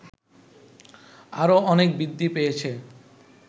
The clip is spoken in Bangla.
আরো অনেক বৃদ্ধি পেয়েছে